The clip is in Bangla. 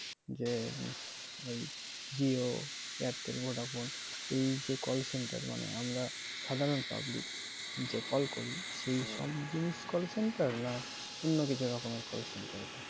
যে ওই jio, airtel, vodafone এই যে call center মানে আমরা সাধারণ public যে call করি সেই সব জিনিস call center না অন্য কিছু রকমের call centre